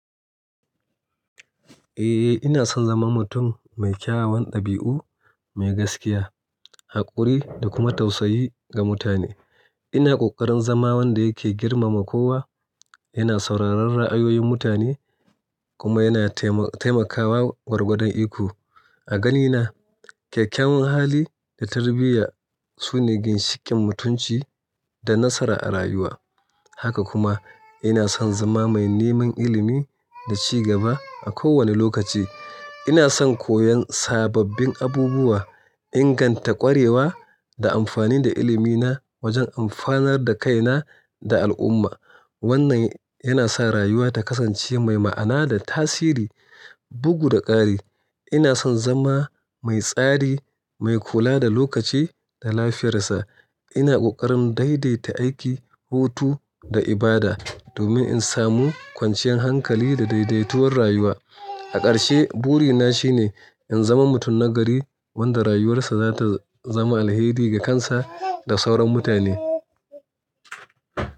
Eh, ina son zama mutum mai kyawawan ɗabi'u, mai gaskiya, haƙuri da kuma tausayi ga mutane. Ina ƙoƙarin zama wanda yake girmama kowa, yana sauraron ra'ayoyin mutane kuma yana taimakawa gwargwadon iko. A ganina, kyakkyawan hali da tarbiyya, su ne ginshikin mutunci da nasara a rayuwa. Haka kuma ina son zama mai neman ilimi da ci gaba a kowane lokaci. Ina son koyon sababbin abubuwa, inganta ƙwarewa da amfani da ilimina wajen amfanar da kaina da al'umma. Wannan yana sa rayuwa ta kasance mai ma'ana da tasiri. Bugu da ƙari, ina son zama mai tsari, mai kula da lokaci da lafiyar sa. Ina ƙoƙarin daidaita aiki, hutu da ibada domin in samu kwanciyar hankali da daidaituwar rayuwa. A ƙarshe, burina shine in zama mutum nagari wanda rayuwarsa za ta zama alheri ga kansa da sauran mutane.